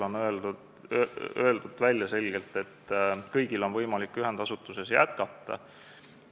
On öeldud selgelt välja, et kõigil on võimalik ühendasutuses jätkata.